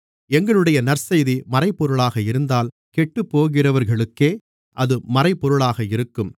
எங்களுடைய நற்செய்தி மறைபொருளாக இருந்தால் கெட்டுப்போகிறவர்களுக்கே அது மறைபொருளாக இருக்கும்